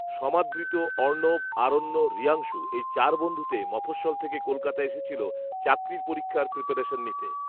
সমাদৃত, অর্ণব, আরণ্য, ঋয়াংশু এই চারবন্ধুতে মফঃস্বল থেকে কলকাতা এসেছিল চাকরির পরীক্ষার প্রিপারেশন নিতে